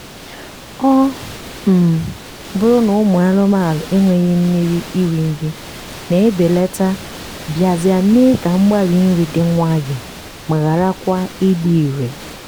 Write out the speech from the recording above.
ọ um bụrụ na ụmụ anụmanụ enweghị mmiri iri nri na-ebelata bịazịa mee ka mgbari nri dị nwayọọ ma ghara kwa ịdị irè.